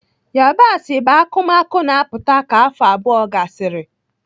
Yabasị bụ akụmakụ na-aputa ka afọ abụọ gasịrị.